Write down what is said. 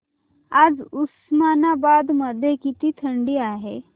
आज उस्मानाबाद मध्ये किती थंडी आहे